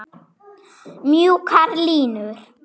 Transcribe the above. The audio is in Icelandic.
Mjúkar línur.